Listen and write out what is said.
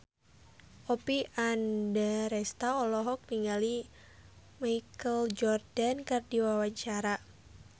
Oppie Andaresta olohok ningali Michael Jordan keur diwawancara